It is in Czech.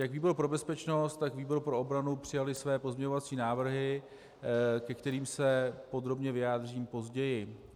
Jak výbor pro bezpečnost, tak výbor pro obranu přijaly své pozměňovací návrhy, ke kterým se podrobně vyjádřím později.